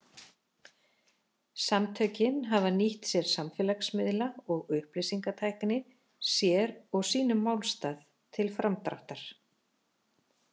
Samtökin hafa nýtt sér samfélagsmiðla og upplýsingatækni sér og sínum málstað til framdráttar.